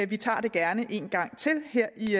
vi tager det gerne en gang til her i